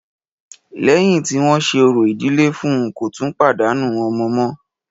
Lẹ́yìn tí wọ́n ṣe orò ìdílé fún ùn, kò tún pàdánù ọmọ mọ́.